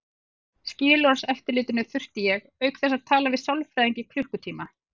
Skilorðseftirlitinu þurfti ég auk þess að tala við sálfræðing í klukkutíma.